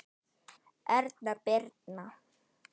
Erna Birna.